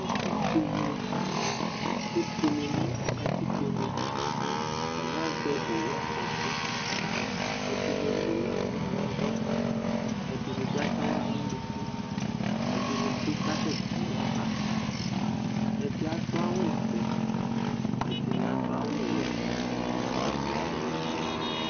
Evidze ni kebuele nʋ katikpo nɛ atani azɛ owu fɔti, ɛdini emu n'sɣla n'avs, ɛdini bi ats'aɣla n'unuku, ɛdini bi kasɛ ti aba Ɛdi adʋ awʋ vɛ, ɛdini adʋ awʋ wɛ, ɛdini bi adʋ awʋ fue